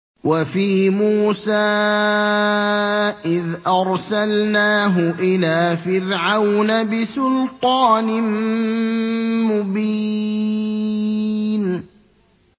وَفِي مُوسَىٰ إِذْ أَرْسَلْنَاهُ إِلَىٰ فِرْعَوْنَ بِسُلْطَانٍ مُّبِينٍ